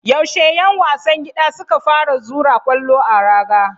Yaushe 'yan wasan gida suka fara zura kwallo a raga?